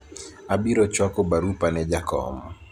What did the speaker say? abiro chwako barupa ne jakom